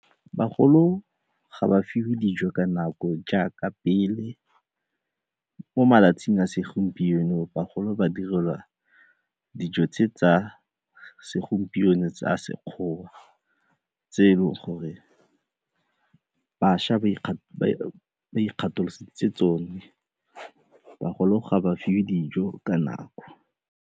Bagolo ga ba fiwe dijo ka nako jaaka pele, mo malatsing a segompieno bagolo ba direlwa dijo tse tsa segompieno sa Sekgowa tse e leng gore bašwa ba ikgatholositse tsone, bagolo ga ba fiwe dijo ka nako.